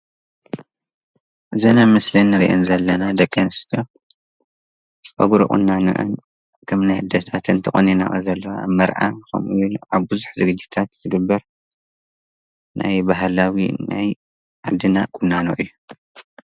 እዘን ኣብ ምስሊ እንሪኤን ዘለና ደቂ ኣንስትዮ ፀጉሪ ቁናነአን ከም ናይ ኣዴታተን ተቆኒነንኦ ዘለዋ መርዓ ኸምኡ ውን ኣብ ብዙሕ ዝግጅታት ዝግበር ናይ ባህላዊ ናይ ዓድና ቁናኖ እዩ፡፡